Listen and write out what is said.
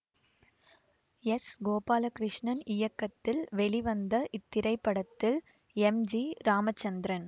S Gopalakrishnan இயக்கத்தில் வெளிவந்த இத்திரைப்படத்தில் எம் ஜி ராமச்சந்திரன்